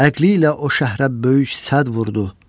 Əqli ilə o şəhrə böyük sədd vurdu.